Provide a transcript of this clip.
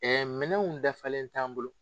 Ɛɛ minɛnw dafalen t'an bolo